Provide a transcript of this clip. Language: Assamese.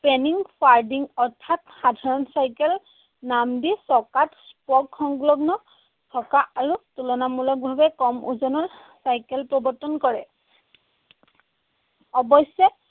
অৰ্থাৎ সাধাৰণ চাইকেল নাম দি চকাত spoke সংলগ্ন থকা আৰু তুলনামুলকভাৱে কম ওজনৰ চাইকেল প্ৰৱৰ্তন কৰে। অৱশ্যে